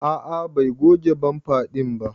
A'a Bai goge bamfa din ba.